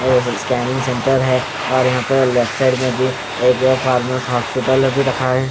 scanning centre हैं और यहा पे लेफ्ट साइड मैं भी एक फार्मस --